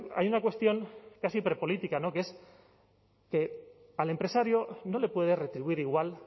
hay una cuestión casi prepolítica no que es que al empresario no le puedes retribuir igual